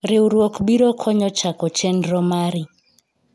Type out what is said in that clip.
riwruok biro konyo chako chenro mari